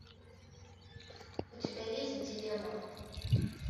у тебя есть дилемма